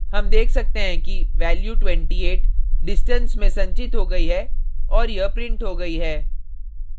हम देख सकते हैं कि value 28 distance में संचित हो गई है और यह printed हो गयी है